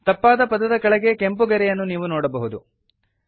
ತಪ್ಪಾದ ಪದದ ಕೆಳಗೆ ಕೆಂಪು ಗೆರೆಯನ್ನು ನೀವು ನೋಡಬಹುದು